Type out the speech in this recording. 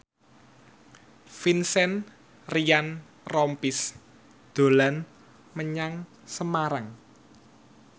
Vincent Ryan Rompies dolan menyang Semarang